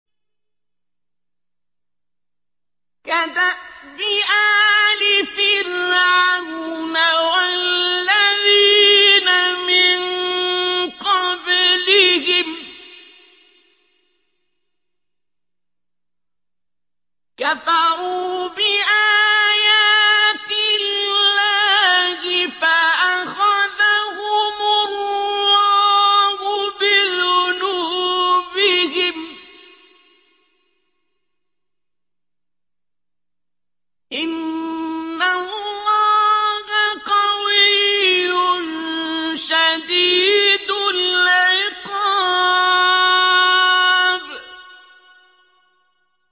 كَدَأْبِ آلِ فِرْعَوْنَ ۙ وَالَّذِينَ مِن قَبْلِهِمْ ۚ كَفَرُوا بِآيَاتِ اللَّهِ فَأَخَذَهُمُ اللَّهُ بِذُنُوبِهِمْ ۗ إِنَّ اللَّهَ قَوِيٌّ شَدِيدُ الْعِقَابِ